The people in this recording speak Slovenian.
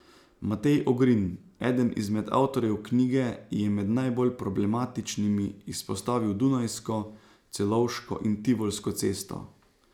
Matej Ogrin, eden izmed avtorjev knjige, je med najbolj problematičnimi izpostavil Dunajsko, Celovško in Tivolsko cesto.